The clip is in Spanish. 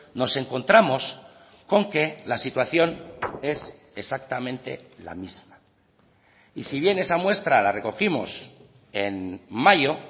nos encontramos con que la situación es exactamente la misma y si bien esa muestra la recogimos en mayo